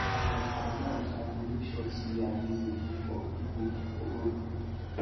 as i dey comot i go make sure sey i greet pipu for pipu for road